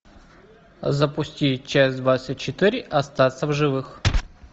запусти часть двадцать четыре остаться в живых